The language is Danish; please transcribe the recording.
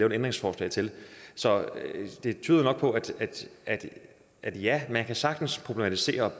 et ændringsforslag til så det tyder jo nok på at at ja man kan sagtens problematisere